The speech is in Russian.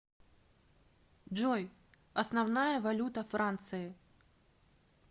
джой основная валюта франции